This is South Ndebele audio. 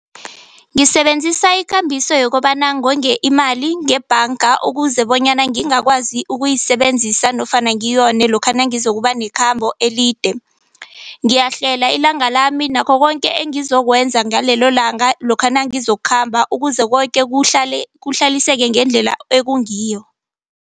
Ngisebenzisa ikambiso yokobana ngonge imali ngebhanga ukuze bonyana ngingakwazi ukuyisebenzisa nofana ngiyone lokha nangizokuba nekhambo elide. Ngiyahlela ilanga lami nakho koke ngizokwenza ngalelo langa lokha nangizokukhamba, ukuze koke kuhlaliseke ngendlela ekungiyo.